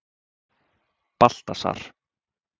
Baltasar